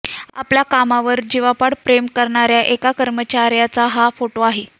आपल्या कामावर जीवापाड प्रेम करणाऱ्या एका कर्मचाऱ्याचा हा फोटो आहे